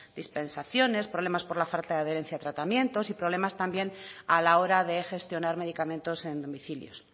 dispensaciones problemas por la falta de tratamientos y problemas a la hora también de gestionar medicamentos en domicilios